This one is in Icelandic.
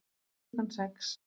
Klukkan sex